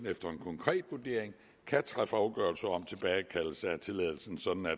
efter en konkret vurdering kan træffe afgørelse om tilbagekaldelse af tilladelsen sådan at